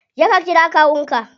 Je ka kira kawun ka.